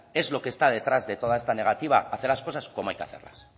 es lo que está detrás de toda esta negativa hacer las cosas como hay que hacerlas